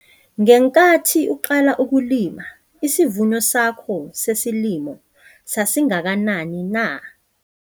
Ngenkathi uqala ukulima isivuno sakho sesilimo sasingakanani na?